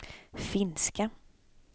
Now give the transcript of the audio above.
finska